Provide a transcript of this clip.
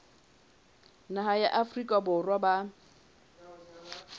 naha ya afrika borwa ba